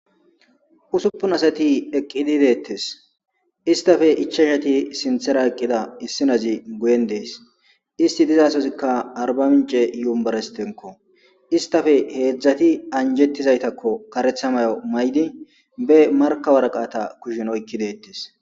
Usupun asati eqidi deetes istape ichachati sinthata eqida issinazi guyen dees isti dizasozika arba mince yunberestinko istappe hezhati anjetizaytako karetha mayo mayidi kushen marka woraqata oykidi deetes.